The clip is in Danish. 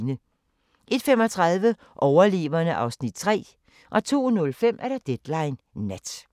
01:35: Overleverne (Afs. 3) 02:05: Deadline Nat